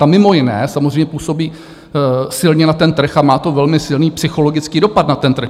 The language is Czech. Ta mimo jiné samozřejmě působí silně na ten trh a má to velmi silný psychologický dopad na ten trh.